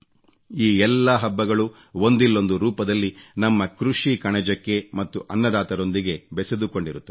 ಈ ಎಲ್ಲಾ ಹಬ್ಬಗಳೂ ಒಂದಿಲ್ಲೊಂದು ರೂಪದಲ್ಲಿ ನಮ್ಮ ಕೃಷಿ ಕಣಜಕ್ಕೆ ಮತ್ತು ಅನ್ನದಾತರೊಂದಿಗೆ ಬೆಸೆದುಕೊಂಡಿರುತ್ತದೆ